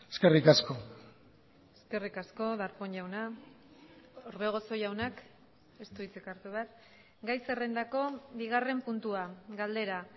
eskerrik asko eskerrik asko darpón jauna orbegozo jaunak ez du hitzik hartu behar gai zerrendako bigarren puntua galdera